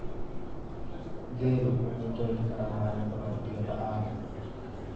Geelu wuxuu joogi karaa maalmo badan biyo la'aan.